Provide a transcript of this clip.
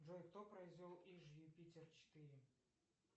джой кто произвел иж юпитер четыре